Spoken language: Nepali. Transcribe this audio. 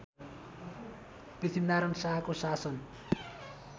पृथ्वीनारायण शाहको शासन